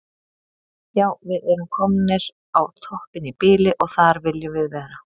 Já við erum komnir á toppinn í bili og þar viljum við vera.